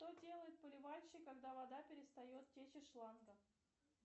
что делает поливальщик когда вода перестает течь из шланга